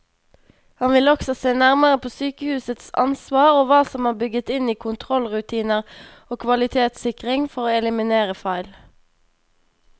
Han vil også se nærmere på sykehusets ansvar og hva som er bygget inn i kontrollrutiner og kvalitetssikring for å eliminere feil.